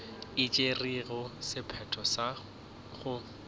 e tšerego sephetho sa go